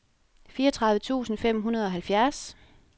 fireogtredive tusind fem hundrede og halvfjerds